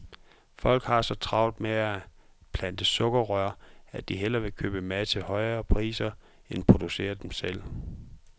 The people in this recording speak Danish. Folk har så travlt med at plante sukkerrør, at de hellere vil købe mad til høje priser end producere den selv.